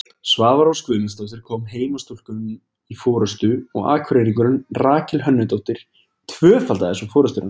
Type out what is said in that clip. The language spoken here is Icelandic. Svava Rós Guðmundsdóttir kom heimastúlkum í forystu og Akureyringurinn Rakel Hönnudóttir tvöfaldaði svo forystuna.